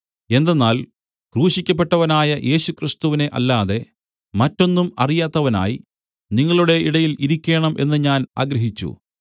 എന്തെന്നാൽ ക്രൂശിക്കപ്പെട്ടവനായ യേശുക്രിസ്തുവിനെ അല്ലാതെ മറ്റൊന്നും അറിയാത്തവനായി നിങ്ങളുടെ ഇടയിൽ ഇരിക്കേണം എന്ന് ഞാൻ ആഗ്രഹിച്ചു